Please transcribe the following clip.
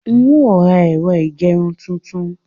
N ó ra ẹ̀rọ ìgerun tuntun.